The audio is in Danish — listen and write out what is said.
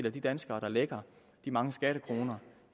at de danskere der lægger de mange skattekroner